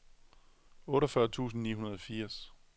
otteogfyrre tusind ni hundrede og firs